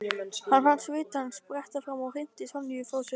Hann fann svitann spretta fram og hrinti Sonju frá sér.